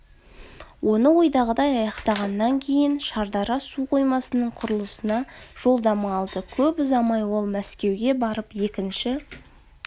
оны ойдағыдай аяқтағаннан кейін шардара су қоймасының құрылысына жолдама алды көп ұзамай ол мәскеуге барып екінші